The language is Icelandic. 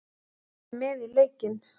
Fá þig með í leikinn.